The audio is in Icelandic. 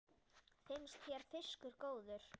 Finnst þér fiskur góður?